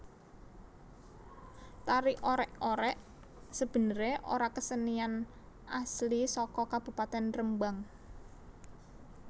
Tari Orèk orèk sebenerè ora kesenian asli saka Kabupatèn Rembang